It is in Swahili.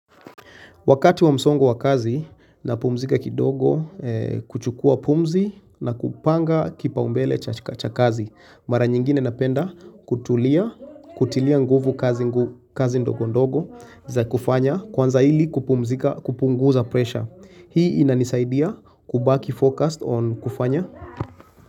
Wakati wa msongo wa kazi na pumzika kidogo kuchukua pumzi na kupanga kipaumbele cha kazi. Mara nyingine napenda kutulia, kutilia nguvu kazi ndogo ndogo za kufanya kwanza ili kumpumzika kupunguza pressure. Hii inanisaidia kubaki focused on kufanya.